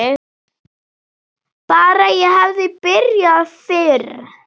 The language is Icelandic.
Bara ég hefði byrjað fyrr!